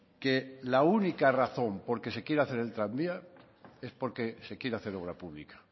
que la única razón porque se quiera hacer el tranvía es porque se quiere hacer obra pública